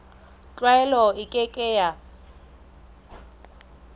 tlwaelo e ke ke ya